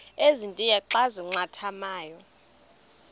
ezintia xa zincathamayo